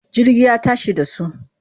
Jirgi ya tashi da su.